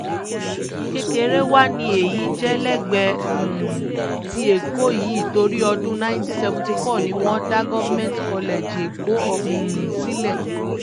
kékeré wàá ní èyí jẹ́ lẹ́gbẹ̀ẹ́ um tí ẹ̀kọ́ yìí torí ọdún ninety sevnty four ni wọ́n dá government college ẹ̀kọ́ um sílẹ̀